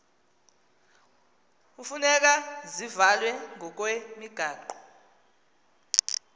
hufuneka zivalwe ngokwemigaqo